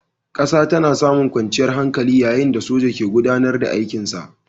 ƙasa tana samun kwanciyar hankali yayin da soja ke gudAnar da aikin sa